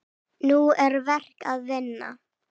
Nú er verk að vinna.